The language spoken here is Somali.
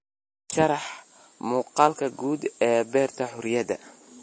sharax muuqaalka guud ee beerta xorriyadda